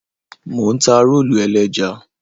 Mò ń ta rólù ẹlẹ́ja.